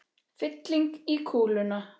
Fylling í kúluna.